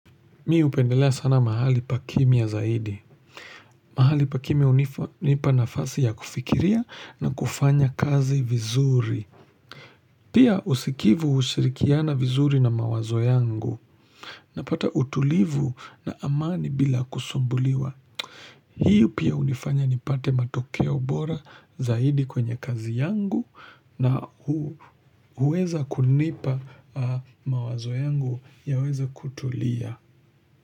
Mi hupendelea sana mahali pakimya zaidi. Mahali pakimya hunipa nafasi ya kufikiria na kufanya kazi vizuri. Pia usikivu hushirikiana vizuri na mawazo yangu. Napata utulivu na amani bila kusumbuliwa. Hiyo pia hunifanya nipate matokeo bora zaidi kwenye kazi yangu na huweza kunipa mawazo yangu yaweze kutulia.